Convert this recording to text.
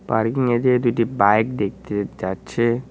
পার্কিংয়েতে দুটি বাইক দেখতে যাচ্ছে।